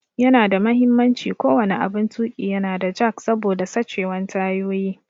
Yana da muhimmanci ko wani aɓun tuƙi ya na da jack saboda sachewan tayoyi.